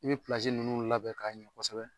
I bɛ nunnu labɛn k'a ɲɛ kosɛbɛ.